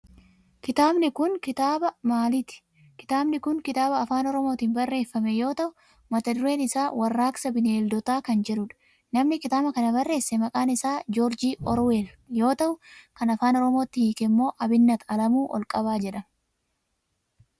Kitaabni kun kitaaba maaliti? Kitaabni kun kitaaba afaan oromootin barreeffame yoo ta'u mata dureen isaa warraaqsa bineeldootaa kan jedhudha. Namni kitaaba kana barreesse maqaan isaa Joorji oorweel yoo ta'u kan afaan oromootti hiike Abinnat Alamuu Olqabaa jedhama.